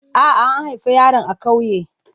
A'a, an haifi yaron a ƙauye.